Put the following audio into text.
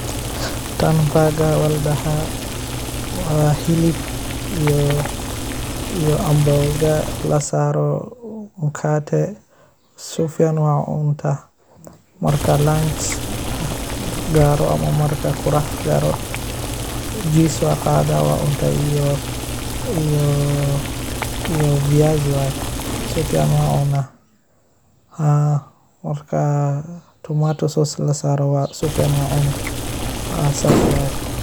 Taan baagar baa ladaha waa hilib iyo ambooga lasaaro mkate sifican waa ucunta maka lunch lagaaro ama marka qadha lagaaro cheese waa qada waa cunta iyo viazi waye sifacan waa ucunaa marka tomatosause lasaaro sifican waa ucuni.